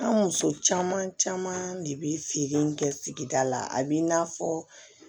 An muso caman caman de bi feere in kɛ sigida la a bi n'a fɔ